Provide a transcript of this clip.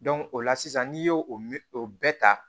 o la sisan n'i y'o o min o bɛɛ ta